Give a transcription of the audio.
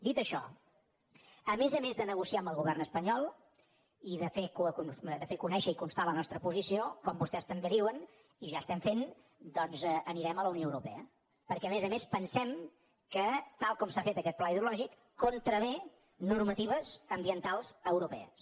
dit això a més a més de negociar amb el govern espanyol i de fer conèixer i constar la nostra posició com vostès també diuen i ja estem fent doncs anirem a la unió europea perquè a més a més pensem que tal com s’ha fet aquest pla hidrològic contravé normatives ambientals europees